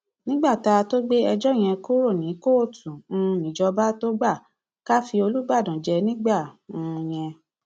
nígbà tá a tóó gbé ẹjọ yẹn kúrò ní kóòtù um níjọba tóo gbà ká fi olùbàdàn jẹ nígbà um yẹn